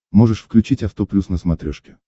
можешь включить авто плюс на смотрешке